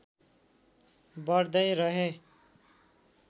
बढ़्दै रहे